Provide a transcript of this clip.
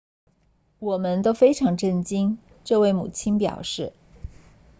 我们都非常震惊这位母亲表示